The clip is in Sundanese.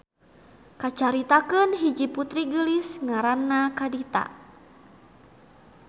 Kacaritakeun hiji putri geulis ngaranna Kadita.